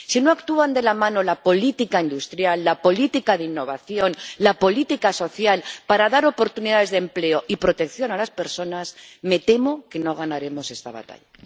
Si no actúan de la mano la política industrial, la política de innovación, la política social para dar oportunidades de empleo y protección a las personas, me temo que no ganaremos esta batalla.